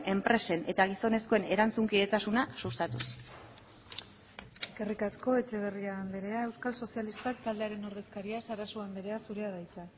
enpresen eta gizonezkoen erantzunkidetasuna sustatuz eskerrik asko etxeberria andrea euskal sozialistak taldearen ordezkaria sarasua andrea zurea da hitza